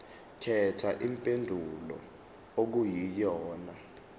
khetha impendulo okuyiyona